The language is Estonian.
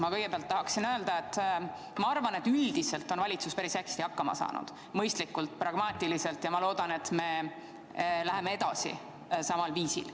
Ma kõigepealt tahaksin öelda, et ma arvan, et üldiselt on valitsus päris hästi hakkama saanud – mõistlikult, pragmaatiliselt – ja ma loodan, et me läheme edasi samal viisil.